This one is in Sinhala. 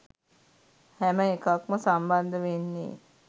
හැම එකක්ම සම්බන්ධ වෙන්නේ